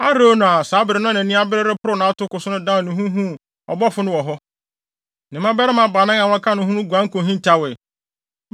Arauna a saa bere no na nʼani abere reporow nʼatoko so no dan ne ho huu ɔbɔfo no wɔ hɔ. Ne mmabarima baanan a na wɔka ne ho wɔ hɔ no guan kohintawee.